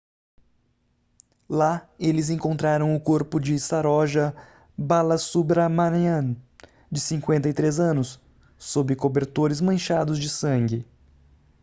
lá eles encontraram o corpo de saroja balasubramanian de 53 anos sob cobertores manchados de sangue